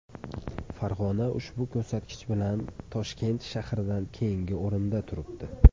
Farg‘ona ushbu ko‘rsatkich bilan Toshkent shahridan keyingi o‘rinda turibdi.